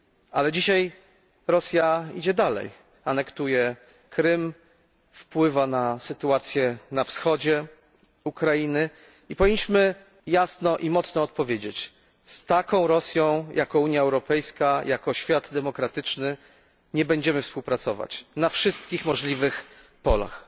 Ale dzisiaj Rosja idzie dalej anektuje Krym, wpływa na sytuację na wschodzie Ukrainy i powinniśmy jasno i mocno odpowiedzieć z taką Rosją jako Unia Europejska, jako świat demokratyczny nie będziemy współpracować. Na wszystkich możliwych polach.